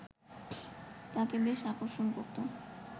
তাকে বেশি আকর্ষণ করতো